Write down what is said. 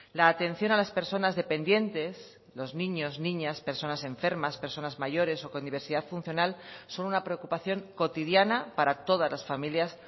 la atención a las personas dependientes los niños niñas personas enfermas personas mayores o con diversidad funcional son una preocupación cotidiana para todas las familias